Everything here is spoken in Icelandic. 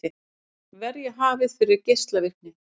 Verja hafið fyrir geislavirkni